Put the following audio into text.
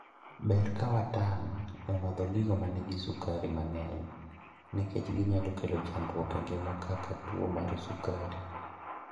ber kawatang' e madho gigo manigi sukari mang'eny nikech ginyalo kelo chandruok e ngima kaka tuo mar sukari